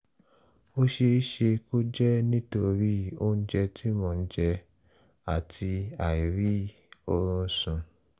ó ṣeé ṣe kó jẹ́ nítorí oúnjẹ tí mò ń jẹ àti àìrí oorun sùn